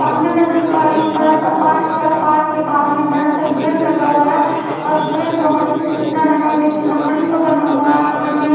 सामने मैं देख पा रही हूं बड़ा सा पार्क है पार्क के बाहर में बड़ा गेट लगा हुआ है और गेट बहुत ही सुंदर है जो कि लकड़ी का बना हुआ है यहां पे--